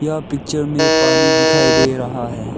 यह पिक्चर में पानी दिखाई दे रहा है।